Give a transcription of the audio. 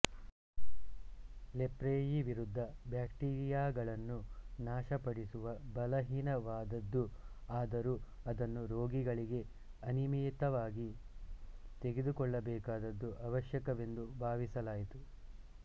ಲೆಪ್ರೆಯೀ ವಿರುದ್ಧ ಬ್ಯಾಕ್ಟೀರಿಯಾಗಳನ್ನು ನಾಶ ಪಡಿಸುವ ಬಲಹೀನವಾದದ್ದು ಆದರೂ ಅದನ್ನು ರೋಗಿಗಳಿಗೆ ಅನಿಯಮಿತವಾಗಿ ತೆಗೆದುಕೊಳ್ಳಬೇಕಾದದ್ದು ಅವಶ್ಯಕವೆಂದು ಭಾವಿಸಲಾಯಿತು